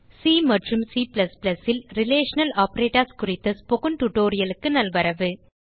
C மற்றும் C ல் relational operators குறித்த ஸ்போக்கன் tutorialக்கு நல்வரவு